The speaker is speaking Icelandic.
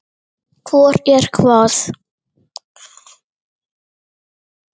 Hvor er hvað?